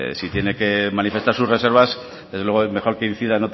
si tiene que manifestar sus reservas desde luego es mejor que incida